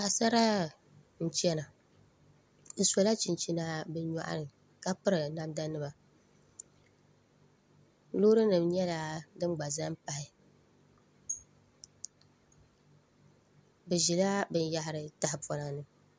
Paɣasara n chɛna bi sola chinchina bi nyoɣani ka piri namda nima loori nim nyɛla din gba ʒɛ n pahi bi ʒila binyahari tahapona ni